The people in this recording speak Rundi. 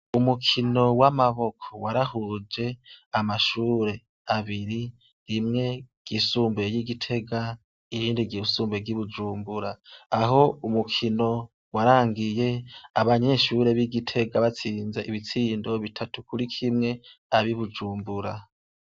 Umukino w'amaboko warahuje amashure abiri, rimwe ryisumbuye ry'igiti ,irindi ryisumbuye ry'ibujumbura, aho umukino warangiye, abanyeshure b'igitega batsinze bitatu kuri kimwe, ab'ibujumbura.